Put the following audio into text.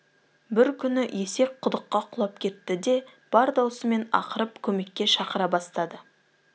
бір күні есек құдыққа құлап кетті де бар даусымен ақырып көмекке шақыра бастады